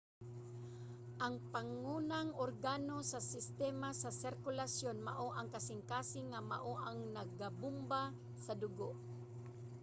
ang pangunang organo sa sistema sa sirkulasyon mao ang kasingkasing nga mao ang nagabomba sa dugo